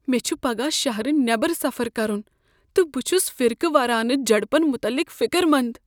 مےٚ چُھ پگاہ شہرٕ نٮ۪بر سفر کرن تہٕ بہٕ چُھس فرقہ وارانہٕ جھڑپن مطلق فکر مند ۔